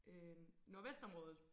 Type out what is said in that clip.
Øh Nordvestområdet